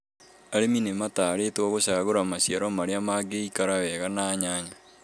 Arĩmi nĩmatarĩtwo gũcagũra maciaro marĩa mangĩikara wega na nyanya